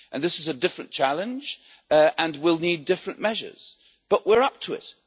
This is a different challenge and will need different measures, but we are up to it.